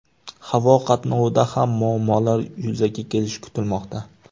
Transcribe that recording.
Havo qatnovida ham muammolar yuzaga kelishi kutilmoqda.